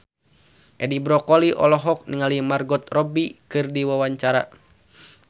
Edi Brokoli olohok ningali Margot Robbie keur diwawancara